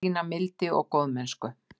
Sýna mildi og góðmennsku.